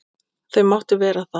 Og þau máttu vera það.